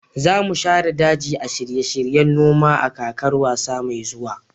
za mu share daji a shirye-shiryen noma a kakar wasa mai zuwa